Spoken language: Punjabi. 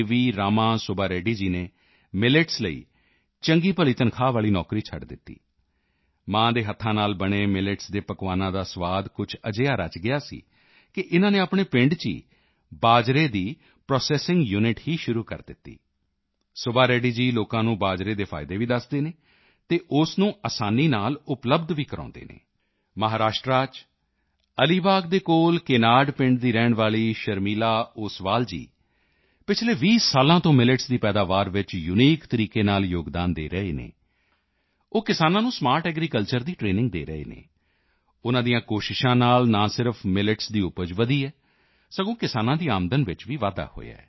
ਰਾਮਾ ਸੁੱਬਾ ਰੈੱਡੀ ਜੀ ਨੇ ਮਿਲੇਟਸ ਲਈ ਚੰਗੀਭਲੀ ਤਨਖ਼ਾਹ ਵਾਲੀ ਨੌਕਰੀ ਛੱਡ ਦਿੱਤੀ ਮਾਂ ਦੇ ਹੱਥਾਂ ਨਾਲ ਬਣੇ ਮਿਲੇਟਸ ਦੇ ਪਕਵਾਨਾਂ ਦਾ ਸੁਆਦ ਕੁਝ ਅਜਿਹਾ ਰਚ ਗਿਆ ਸੀ ਕਿ ਇਨ੍ਹਾਂ ਨੇ ਆਪਣੇ ਪਿੰਡ ਚ ਹੀ ਬਾਜਰੇ ਦੀ ਪ੍ਰੋਸੈੱਸਿੰਗ ਯੂਨਿਟ ਹੀ ਸ਼ੁਰੂ ਕਰ ਦਿੱਤੀ ਸੁੱਬਾ ਰੈੱਡੀ ਜੀ ਲੋਕਾਂ ਨੂੰ ਬਾਜਰੇ ਦੇ ਫਾਇਦੇ ਵੀ ਦੱਸਦੇ ਹਨ ਅਤੇ ਉਸ ਨੂੰ ਅਸਾਨੀ ਨਾਲ ਉਪਲਬਧ ਵੀ ਕਰਵਾਉਂਦੇ ਹਨ ਮਹਾਰਾਸ਼ਟਰ ਚ ਅਲੀ ਬਾਗ਼ ਦੇ ਕੋਲ ਕੇਨਾਡ ਪਿੰਡ ਦੀ ਰਹਿਣ ਵਾਲੀ ਸ਼ਰਮੀਲਾ ਓਸਵਾਲ ਜੀ ਪਿਛਲੇ 20 ਸਾਲ ਤੋਂ ਮਿਲੇਟਸ ਦੀ ਪੈਦਾਵਾਰ ਚ ਯੂਨੀਕ ਤਰੀਕੇ ਨਾਲ ਯੋਗਦਾਨ ਦੇ ਰਹੇ ਹਨ ਉਹ ਕਿਸਾਨਾਂ ਨੂੰ ਸਮਾਰਟ ਐਗਰੀਕਲਚਰ ਦੀ ਟ੍ਰੇਨਿੰਗ ਦੇ ਰਹੇ ਹਨ ਉਨ੍ਹਾਂ ਦੀਆਂ ਕੋਸ਼ਿਸ਼ਾਂ ਨਾਲ ਨਾ ਸਿਰਫ਼ ਮਿਲੇਟਸ ਦੀ ਉਪਜ ਵਧੀ ਹੈ ਬਲਕਿ ਕਿਸਾਨਾਂ ਦੀ ਆਮਦਨ ਚ ਵੀ ਵਾਧਾ ਹੋਇਆ ਹੈ